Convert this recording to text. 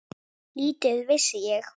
Lítið vissi ég.